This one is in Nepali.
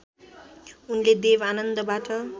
उनले देव आनन्दबाट